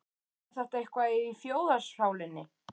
Er þetta eitthvað í þjóðarsálinni?